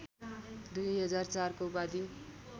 २००४को उपाधि